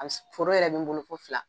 Foro yɛrɛ bɛ n bolo fo fila